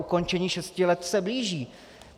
Ukončení šesti let se blíží.